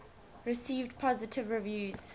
received positive reviews